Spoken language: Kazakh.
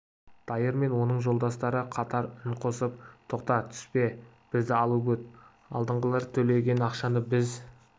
дайыр мен оның жолдастары қатар үн қосып тоқта түспе бізді алып өт алдыңғылар төлеген ақшаны біз